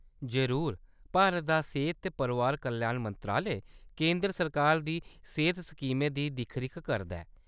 जरूर, भारत दा सेह्‌त ते परोआर कल्याण मंत्रालय केंदर सरकार दी सेह्‌त स्कीमें दी दिक्ख-रिक्ख करदा ऐ।